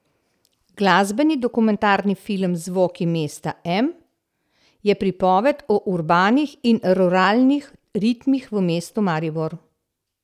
Glasbeni dokumentarni film Zvoki mesta M je pripoved o urbanih in ruralnih ritmih v mestu Maribor.